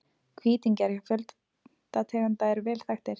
Hvítingjar hjá fjölda tegunda eru vel þekktir.